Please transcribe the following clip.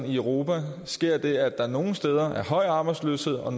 i europa sker det at der nogle steder er høj arbejdsløshed og